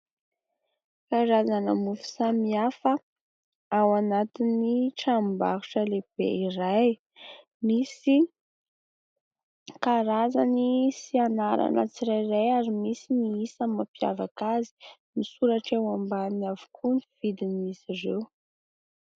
Karazana mofo samy hafa ao anatin'ny tranombarotra lehibe iray. Misy karazany sy anarana tsirairay ary misy ny isan'ny mampiavaka azy. Misoratra eo ambaniny avokoa ny vidiny izy ireo.